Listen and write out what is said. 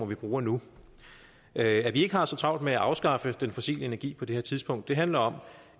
vi bruger nu at vi ikke har så travlt med at afskaffe den fossile energi på det her tidspunkt handler om